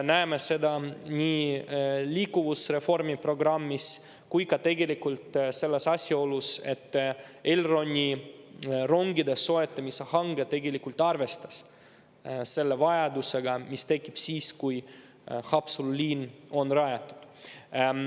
Näeme seda nii liikuvusreformi programmis kui ka selles asjaolus, et Elroni rongide soetamise hange tegelikult arvestas selle vajadusega, mis tekib siis, kui Haapsalu liin on rajatud.